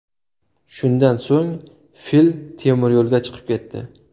Shundan so‘ng fil temiryo‘lga chiqib ketdi.